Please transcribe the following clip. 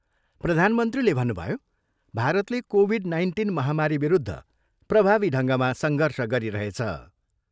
प्रधानमन्त्रीले भन्नुभयो, भारतले कोभिड नाइन्टिन महामारीविरुद्ध प्रभावी ढङ्गमा सङ्घर्ष गरिरहेछ।